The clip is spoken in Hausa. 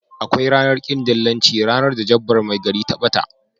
Akwai ranar kin dillanci ranar da jabbar mai gari ta bata.